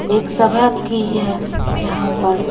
एक सभा की है यहां पर--